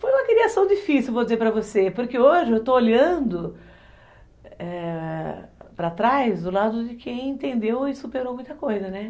Foi uma criação difícil, vou dizer para você, porque hoje eu estou olhando, é... para trás do lado de quem entendeu e superou muita coisa, né?